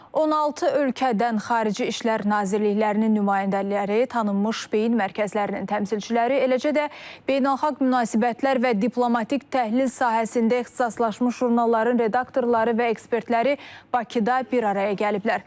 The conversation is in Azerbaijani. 16 ölkədən Xarici İşlər Nazirliklərinin nümayəndələri, tanınmış beyin mərkəzlərinin təmsilçiləri, eləcə də beynəlxalq münasibətlər və diplomatik təhlil sahəsində ixtisaslaşmış jurnalların redaktorları və ekspertləri Bakıda bir araya gəliblər.